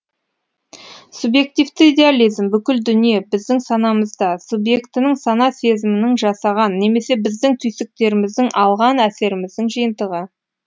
субьъективті идеализм бүкіл дүние біздің санамызда субьектінің сана сезімінің жасаған немесе біздің түйсіктеріміздің алған әсеріміздің жиынтығы